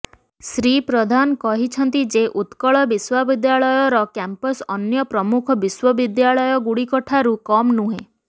ଶ୍ରୀ ପ୍ରଧାନ କହିଛନ୍ତି ଯେ ଉକ୍ରଳ ବିଶ୍ୱବିଦ୍ୟାଳୟର କ୍ୟାମ୍ପସ ଅନ୍ୟ ପ୍ରମୁଖ ବିଶ୍ୱବିଦ୍ୟାଳୟଗୁଡିଠାରୁ କମ୍ ନୁହେଁ